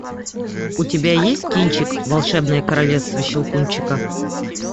у тебя есть кинчик волшебное королевство щелкунчика